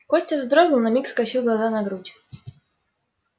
костя вздрогнул на миг скосил глаза на грудь